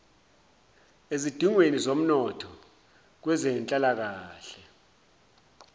ezidingweni zomnotho kwezenhlalakahle